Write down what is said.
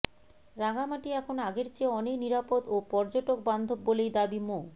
রাঙামাটি এখন আগের চেয়ে অনেক নিরাপদ ও পযর্টকবান্ধব বলেই দাবি মো